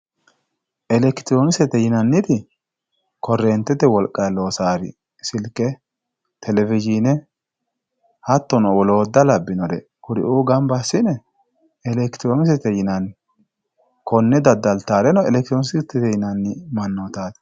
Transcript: elekitiroonikisete yinanniti korreentete wolqanni loosanore silke telewizhiine hattono woloota labbinore kuriuu gamba assine elekitiroonikise yinanniwe konne daddaltannoreno elekitiroonikisete mannootaati yine woshshinanni.